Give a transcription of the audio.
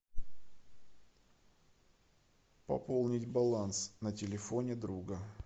пополнить баланс на телефоне друга